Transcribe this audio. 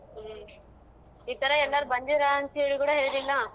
ಹ್ಮ್, ಈತರ ಎಲ್ಲರು ಬಂದಿದ್ರಾ ಅಂತ್ಹೇಳಿ ಕೂಡ ಹೇಳಿಲ್ಲ?